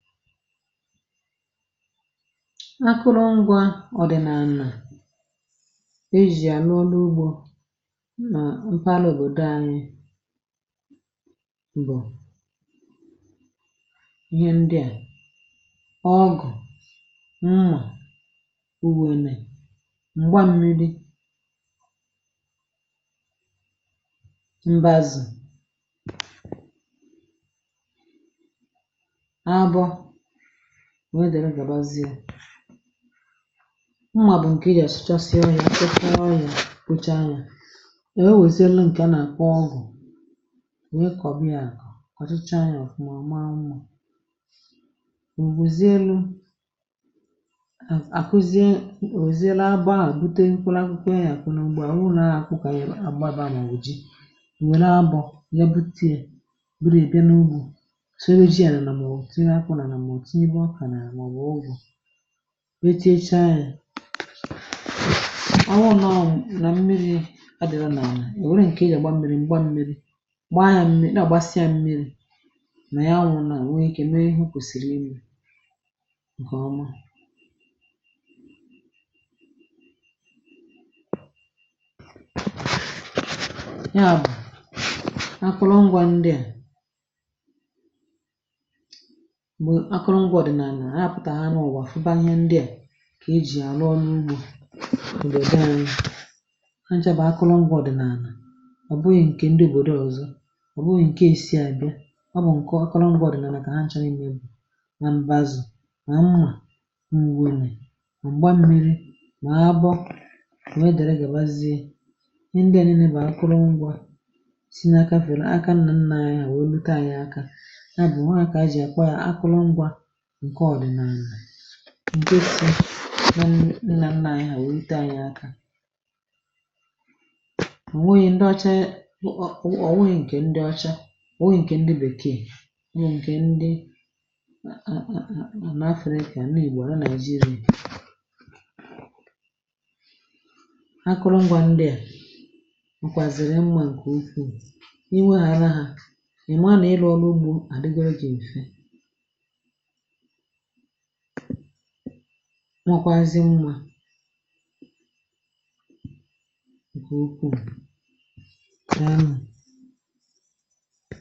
Akụrụngwà ọ̀ dị̀ nà ànà e jì ànụ ọlụ ugbȯ m nà mpaghara òbòdò anyị, bụ̀ ihe ndịà ọgụ̀ mmà, owèlè m̀gba mmi̇ri, mbazù, nwee dèrè, gàbazie. Ụmụ̀ a bụ̀ ǹkè ị gà àsụchasị ebe ya, sụkara anya, kpocha anya, ihe nwezie lu, nkè a nàkwa ọgụ, nwee kọ̀bịa, kọ̀chicha ya ọ̀fụma, maa mmụọ, ò bụ̀ zie lu àkuzi, òzie laa baa à, bute nkwụlụ akwụkwọ, enyė àkụ na ugbe, à wụrụ na-akụkaghị agbabȧ nà ùji, wère abụ̇ ya bute bụrụ èbe n’ugbò enyi. Ọ̀ tụnyegbu akà nà àlà nwà, ọ bụ̀ ụgwọ̇, wechaa ya, awụrụ nà ọ mụ̇ nà mmiri̇, adị̀rọ̀ nà à valoṙ, ǹkè ị gàgba mmi̇ri̇, m̀gba nmi̇ri̇, gbaa ya mmiri, nà àgbasịa mmi̇ri̇ nà ya, awụrụ nà nwunyekė, mee ịhụ̇ kwèsìrì imi̇, ǹkè ọma. Ya bụ̀, akụrụngwȧ ndịà, akụrụngwȧ ọdị̀nà, ànà hapụtà ha n’ụwà, fụba ihe ndịà kà e jì àrụ ọrụ ugbȯ, ǹdegaȧ nà ha, nchàbà. Akụrụngwȧ ọdị̀nà ànà ọ bụghị̇ ǹkè ndị òbòdo ọ̀zọ, ọ bụghị̀ ǹke ànyị bẹ, ọ bụ̀ ǹke akụrụngwȧ ọdị̀nà, mà kà ha nchȧghị m, mbụ̇ na mbazù, na mmà mgbȧ, m̀gba mmi̇ri̇, na abọ, new dàra gàbazie ihe ndịà. Nene bà akụrụngwȧ si n’aka fèro, aka nnà nnà anyȧ, wèe leta anyị aka, ǹke ọ̀dị̀ná ànyị, nà-ànyị nwèrite ànyị aka. Ọ̀ nwėghi̇ ndị ọ̀cha, ọ̀ nweghì ǹkè ndị ọ̀cha, ọ̀ nwėghi̇ ǹkè ndị bèkee, nà-èkè ndị, ǹkè n’afrika, nà ìgbò àrá nàịjirì. Akụrụngwȧ ndịà m kwàzị̀rị̀ mmȧ, ǹkè ukwuu, inwėghị̇ ara hȧ, èma nà-ele ọrụ ugbȯ, àrigoro gị̀ m̀fe, nwatwazị mmȧ.